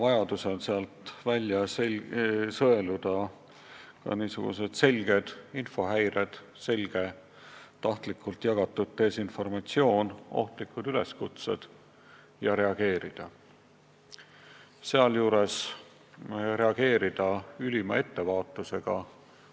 Vajadusel tuleb sealt välja sõeluda ilmselged infohäired – tahtlikult jagatud desinformatsioon, ohtlikud üleskutsed – ja reageerida neile, sealjuures reageerida ülima ettevaatusega.